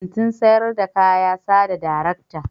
Kantin sayar da kaya sa da darekta.